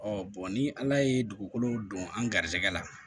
ni ala ye dugukolo don an ga garijɛgɛ la